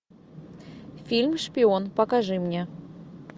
фильм шпион покажи мне